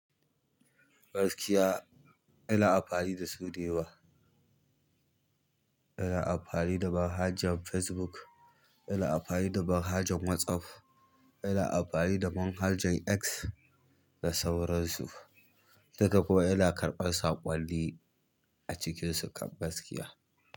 Baskiya ina amfani dasu ɗaya wa. Ina amfani da manhajen Facebook, ina amfani da man hajen WhatsApp, ina amfani da manhajen X da sauransu. Duka kuwa ina amsar saƙonni acikin sukan gaskiya.